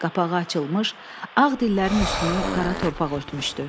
Qapağı açılmış, ağ dillərin üstünü qara torpaq örtmüşdü.